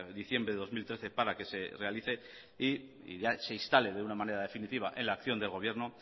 diciembre de dos mil trece para que se realice y ya se instale de una manera definitiva en la acción del gobierno